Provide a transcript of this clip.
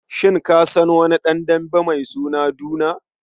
Shin ka san wani ɗan dambe mai suna Duna?